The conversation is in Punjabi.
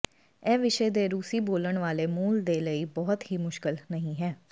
ਇਹ ਵਿਸ਼ੇ ਦੇ ਰੂਸੀ ਬੋਲਣ ਵਾਲੇ ਮੂਲ ਦੇ ਲਈ ਬਹੁਤ ਹੀ ਮੁਸ਼ਕਲ ਨਹੀ ਹੈ